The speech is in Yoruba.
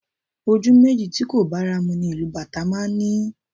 Ojú méjì tí kò bára mu ni ìlù Bàtá máa ń ní